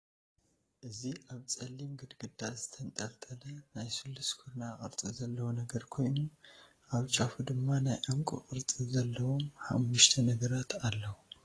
እዚ አብ ፀሊም ግድግዳ ዝተንጠልጠለ ናይ ስሉስ ኮርናዕ ቅርፂ ዘለዎ ነገር ኮይኑ አብ ጫፉ ድማ ናይ ዕንቂ ቅርፂ ዘለዎም ሓሙሽተ ነገራት አለዉ።